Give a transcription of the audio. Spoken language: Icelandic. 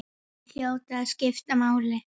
Þeir hljóta að skipta máli.